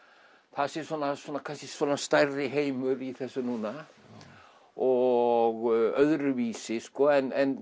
það sé svona kannski stærri heimur í þessu núna og öðruvísi en